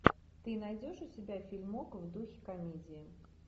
ты найдешь у себя фильмок в духе комедия